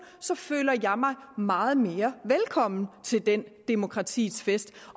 føler jeg mig meget mere velkommen til den demokratiets fest